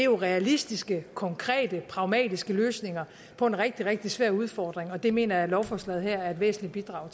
og realistiske konkrete pragmatiske løsninger på en rigtig rigtig svær udfordring og det mener jeg at lovforslaget her er et væsentligt bidrag